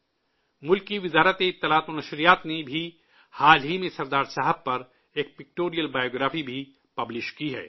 ملک کی وزارت اطلاعات و نشریات نے بھی حال ہی میں سردار صاحب پر ایک پکٹوریل بائیوگرافی شائع کی ہے